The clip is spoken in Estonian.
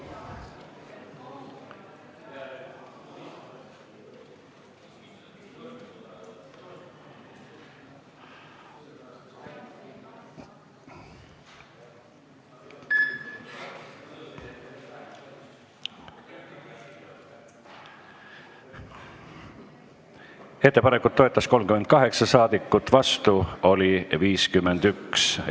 Hääletustulemused Ettepanekut toetas 38 ja vastu oli 51 saadikut.